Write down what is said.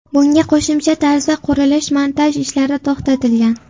Bunga qo‘shimcha tarzda qurilish-montaj ishlari to‘xtatilgan.